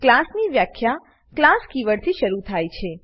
class ની વ્યાખ્યા class કીવર્ડથી શરુ થાય છે